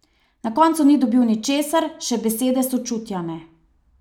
Na koncu ni dobil ničesar, še besede sočutja ne.